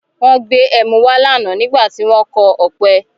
Wọ́n gbé ẹmu wá lánàá nígbà tí wọn kọ ọ̀pẹ.